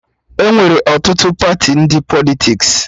Enwere ọtụtụ Pati ndị Politiks